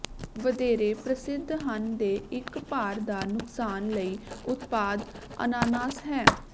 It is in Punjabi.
ਵਧੇਰੇ ਪ੍ਰਸਿੱਧ ਹਨ ਦੇ ਇਕ ਭਾਰ ਦਾ ਨੁਕਸਾਨ ਲਈ ਉਤਪਾਦ ਅਨਾਨਾਸ ਹੈ